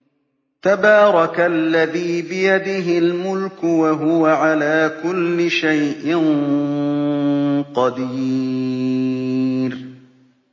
تَبَارَكَ الَّذِي بِيَدِهِ الْمُلْكُ وَهُوَ عَلَىٰ كُلِّ شَيْءٍ قَدِيرٌ